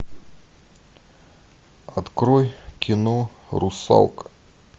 открой кино русалка